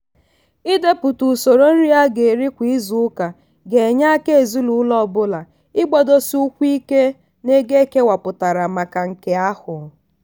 ịdepụta usoro nri a ga eri kwa izuuka ga enye aka ezinụlọ ọ bụla ịgbadosi ụkwụ ike n'ego ekewapụtara maka nke ahụ.